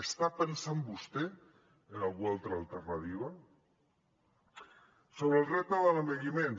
està pensant vostè en alguna altra alternativa sobre el repte de l’envelliment